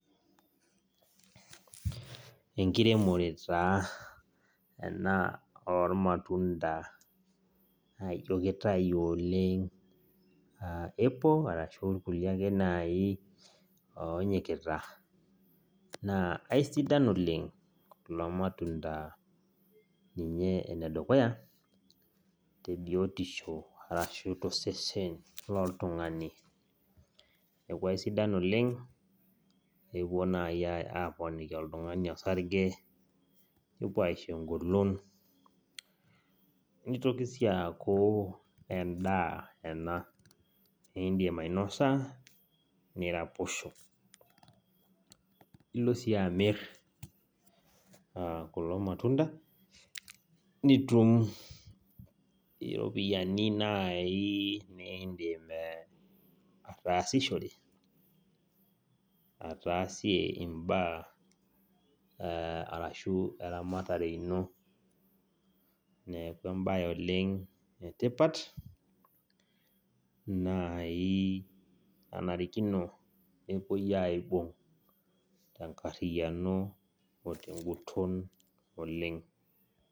Enkiremore ena oo rmatunda naajio keitayu naa esidai oleng kulo matunda ninye edukuya tebiotisho ashu tosesen loltung'ani neeku eisidan oleng epuo naaji aaponiki oltung'ani orsarge nepuo aaponiki oltung'ani engolon neitoki sii aaku endaa ena niindim ainosa niraposho nilo sii amir kulo matunda nitum iropiyiani naaiji nindiim ataasishore niashie imbaa ashua eramatare ino neeku embaye etipat naaji nenarikino nepuoi aaibung tenguton oleng.